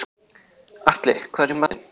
Atli, hvað er í matinn?